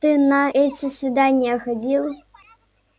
ты на эти свидания ходил